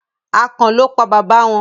akàn lọ pá baba wón.